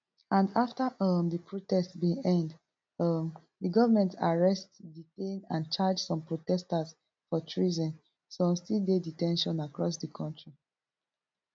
and afta um di protest bin end um di goment arrest detain and charge some protesters for treason some still dey de ten tion across di kontri